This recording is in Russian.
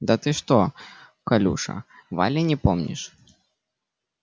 да ты что колюша вали не помнишь